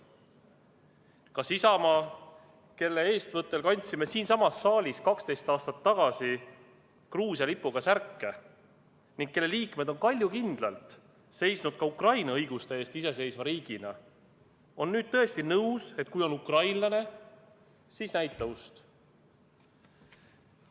Kas Isamaa, kelle eestvõttel kandsime siinsamas saalis 12 aastat tagasi Gruusia lipuga särke ning kelle liikmed on kaljukindlalt seisnud ka Ukraina õiguste eest iseseisva riigina, on nüüd tõesti nõus, et kui on ukrainlane, siis näita ust?